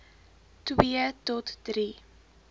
twee tot drie